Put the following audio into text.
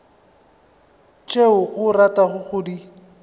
tšeo o ratago go di